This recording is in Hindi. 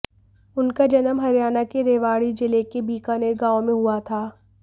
उनका जन्म हरियाणा के रेवाड़ी जिले के बीकानेर गाँव में हुआ था